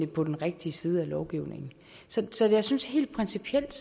på den rigtige side af loven så jeg synes helt principielt